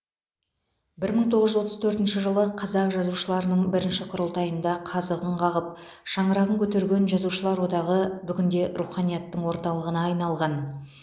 бір мың тоғыз жүз отыз төртінші жылы қазақ жазушыларының бірінші құрылтайында қазығын қағып шаңырағын көтерген жазушылар одағы бүгінде руханияттың орталығына айналған